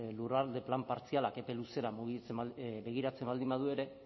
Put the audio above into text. lurralde plan partzialak epe luzera mugitzen begiratzen baldin badu ere